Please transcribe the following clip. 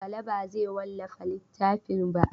Bala ba zai wallafa littafin ba.